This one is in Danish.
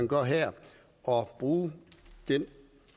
gør her og bruge den